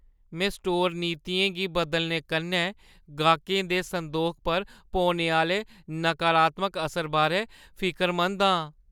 में स्टोर नीतियें गी बदलने कन्नै गाह्कें दे संदोखै पर पौने आह्‌ले नकारात्मक असर बारै फिकरमंद आं।